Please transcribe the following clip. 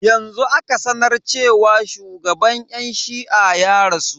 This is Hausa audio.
Yanzu aka sanar cewa shugaban yan shi'a ya rasu.